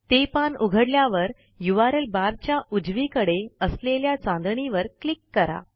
ते पान उघडल्यावर यूआरएल barच्या उजवीकडे असलेल्या चांदणीवर क्लिक करा